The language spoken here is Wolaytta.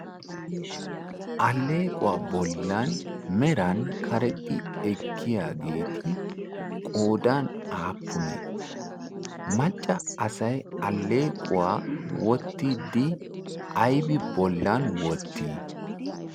aleequwaa bollan meran karexxi ekkiyaageeti qoodan aappunee macca asay alleequwaa wottiddi aybi bollan wottii?